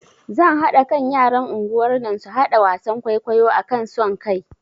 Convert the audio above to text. Zan haɗa kan yaran unguwar nan su haɗa wasan kwaikwayo akan son kai